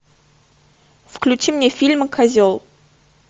включи мне фильм козел